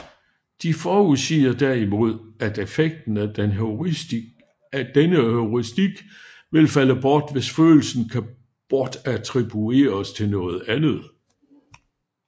De forudsiger derimod at effekten af denne heuristik vil falde bort hvis følelsen kan bortattribueres til noget andet